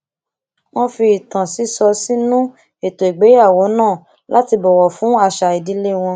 wón fi ìtàn sísọ sínú ètò ìgbéyàwó náà láti bọwọ fún àṣà ìdílé wọn